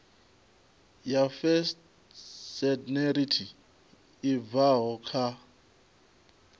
ya phytosanitary i bvaho kha